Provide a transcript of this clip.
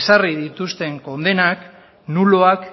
ezarri dituzten kondenak nuloak